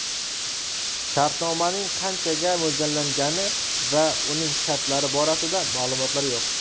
Shartnomaning qanchaga mo‘ljallangani va uning shartlari borasida ma’lumotlar yo‘q.